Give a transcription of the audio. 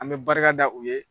An bɛ barika da u ye